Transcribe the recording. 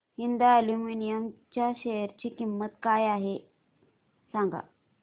Hind aluminium च्या share ची किंमत काय आहे हे सांगा